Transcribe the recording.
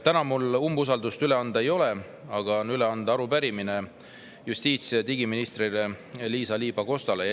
Täna mul umbusaldus üle anda ei ole, aga on üle anda arupärimine justiits‑ ja digiminister Liisa-Ly Pakostale.